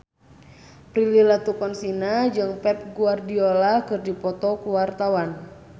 Prilly Latuconsina jeung Pep Guardiola keur dipoto ku wartawan